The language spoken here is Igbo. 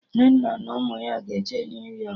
Nnenna na ụmụ ya ga-eje New Yọk